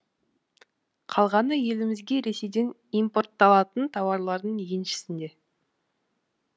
қалғаны елімізге ресейден импортталатын тауарлардың еншісінде